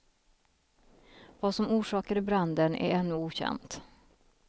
Vad som orsakade branden är ännu okänt.